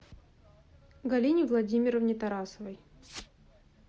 галине владимировне тарасовой